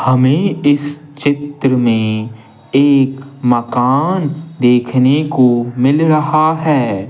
हमें इस चित्र में एक मकान देखने को मिल रहा है।